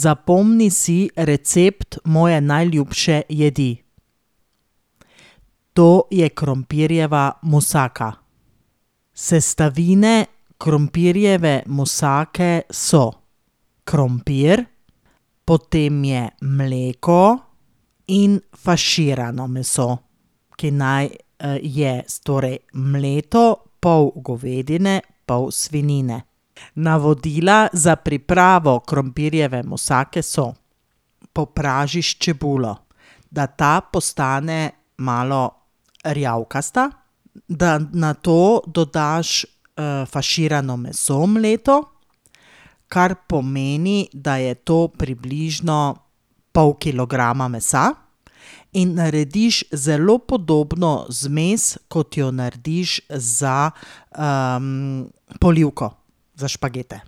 Zapomni si recept moje najljubše jedi. To je krompirjeva musaka. Sestavine krompirjeve musake so: krompir, potem je mleko in faširano meso, ki naj, je torej mleto, pol govedine, pol svinjine. Navodila za pripravo krompirjeve musake so: popražiš čebulo, da ta postane malo rjavkasta, da nato dodaš, faširano meso mleto, kar pomeni, da je to približno pol kilograma mesa, in narediš zelo podobno zmes, kot jo narediš za, polivko za špagete.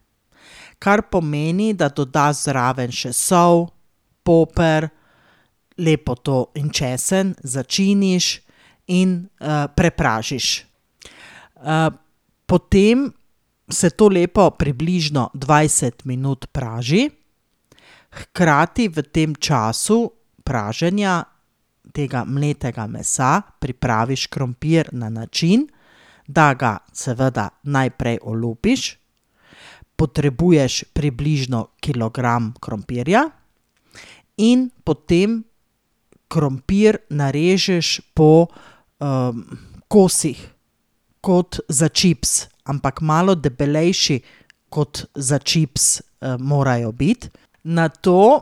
Kar pomeni, da dodaš zraven še sol, poper, lepo to, in česen, začiniš in, prepražiš. potem se to lepo približno dvajset minut praži, hkrati v tem času praženja tega mletega mesa pripraviš krompir na način, da ga seveda najprej olupiš, potrebuješ približno kilogram krompirja, in potem krompir narežeš po, kosih. Kot za čips, ampak malo debelejši kot za čips, morajo biti. Nato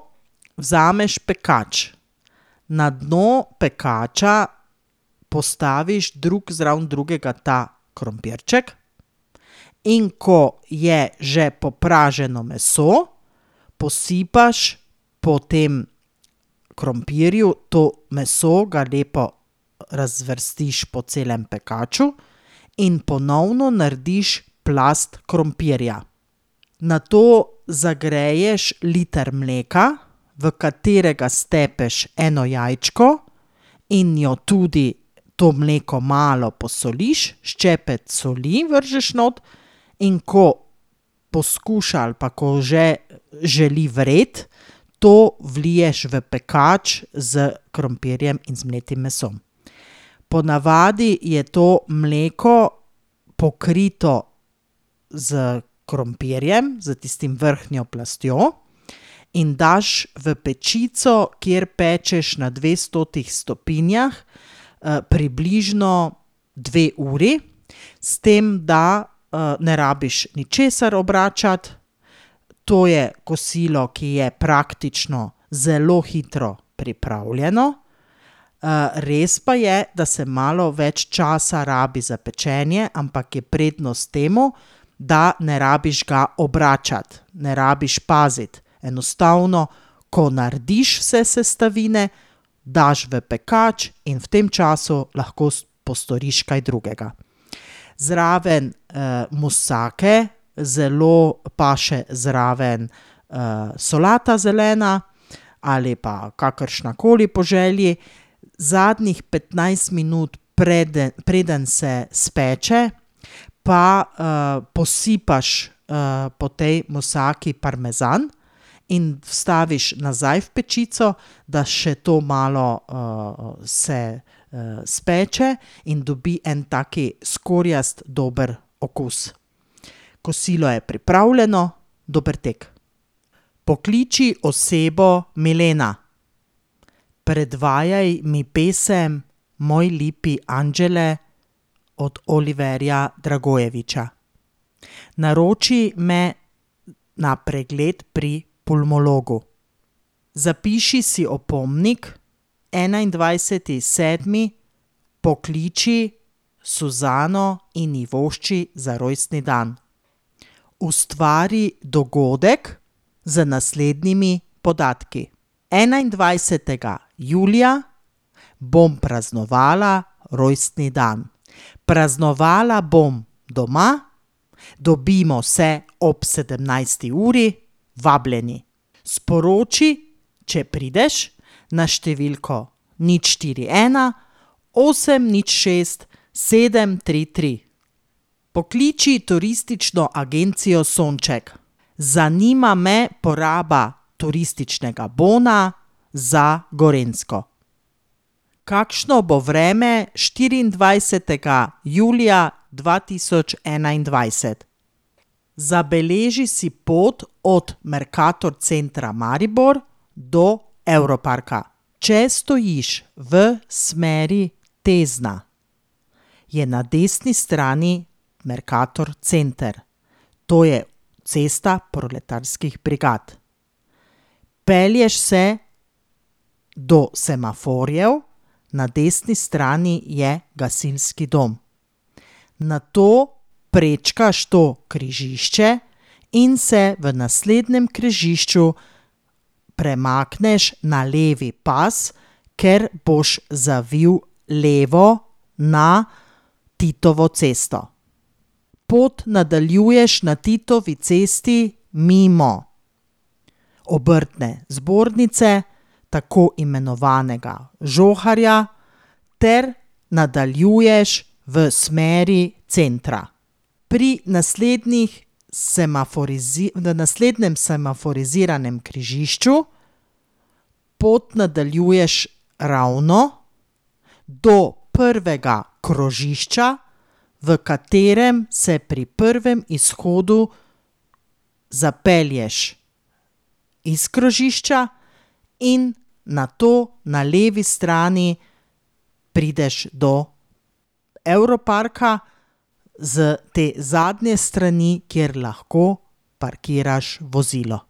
vzameš pekač. Na dno pekača postaviš drug zraven drugega ta krompirček, in ko je že popraženo meso, posipaš po tem krompirju to meso, ga lepo razvrstiš po celem pekaču in ponovno narediš plast krompirja. Nato zagreješ liter mleka, v katerega stepeš eno jajčko in jo tudi to mleko malo posoliš, ščepec soli vržeš not. In ko poskuša ali pa ko že želi vreti, to vliješ v pekač s krompirjem in z mletim mesom. Ponavadi je to mleko pokrito s krompirjem, s tistim vrhnjo plastjo. In daš v pečico, kjer pečeš na dvestotih stopinjah, približno dve uri. S tem, da, ne rabiš ničesar obračati, to je kosilo, ki je praktično zelo hitro pripravljeno. res pa je, da se malo več časa rabi za pečenje, ampak je prednost temu, da ne rabiš ga obračati. Ne rabiš paziti. Enostavno, ko narediš vse sestavine, daš v pekač in v tem času lahko postoriš kaj drugega. Zraven, musake zelo paše zraven, solata zelena ali pa kakršnakoli, po želji. Zadnjih petnajst minut, preden se speče, pa, posipaš, po tej musaki parmezan in vstaviš nazaj v pečico, da še to malo, se, speče in dobi en tak skorjast dober okus. Kosilo je pripravljeno. Dober tek. Pokliči osebo Milena. Predvajaj mi pesem Moj lipi anđele od Oliverja Dragojevića. Naroči me na pregled pri pulmologu. Zapiši si opomnik: enaindvajseti sedmi pokliči Suzano in ji vošči za rojstni dan. Ustvari dogodek z naslednjimi podatki. Enaindvajsetega julija bom praznovala rojstni dan. Praznovala bom doma, dobimo se ob sedemnajsti uri. Vabljeni. Sporoči, če prideš na številko nič, štiri, ena, osem, nič, šest, sedem, tri, tri. Pokliči turistično agencijo Sonček. Zanima me poraba turističnega bona za Gorenjsko. Kakšno bo vreme štiriindvajsetega julija dva tisoč enaindvajset? Zabeleži si pot od Mercator centra Maribor do Europarka. Če stojiš v smeri Tezna, je na desni strani Mercator center. To je Cesta proletarskih brigad. Pelješ se do semaforjev, na desni strani je gasilski dom. Nato prečkaš to križišče in se v naslednjem križišču premakneš na levi pas, ker boš zavil levo na Titovo cesto. Pot nadaljuješ na Titovi cesti mimo Obrtne zbornice, tako imenovanega Žoharja, ter nadaljuješ v smeri centra. Pri naslednjih na naslednjem semaforiziranem križišču pot nadaljuješ ravno, do prvega krožišča, v katerem se pri prvem izhodu zapelješ iz krožišča in nato na levi strani prideš do Europarka iz te zadnje strani, kjer lahko parkiraš vozilo.